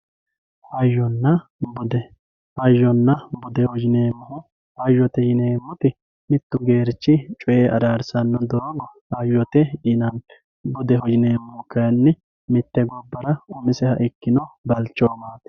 Hayyonna bude, hayyonna budeho yineemmohu, hayyote yineemmoti mitu Geerchi coye ararsano doogo hayyote yinanni budeho yineemmohu kayinni mite gobbara umiseha ikkino balchomati.